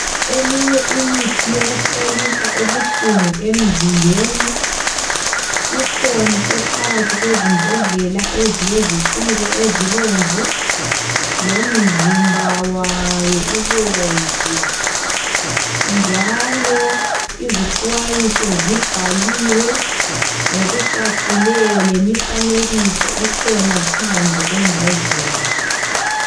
Eminye imithi yokupholisa ubuhlungu emzimbeni. Ikhona ephakathi kwezimbodlela ezileziciko ezibomvu ,lomzimba wayo ubomvu njalo izixwayiso zibhaliwe ngokucacileyo. Lemifanekiso ikhona phandle kwembodlela.